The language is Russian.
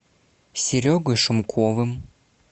серегой шумковым